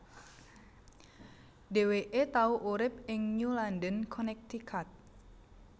Dheweke tau urip ing New London Connecticut